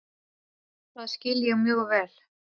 Það skil ég mjög vel.